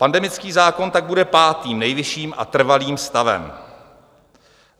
Pandemický zákon tak bude pátým nejvyšším a trvalým stavem.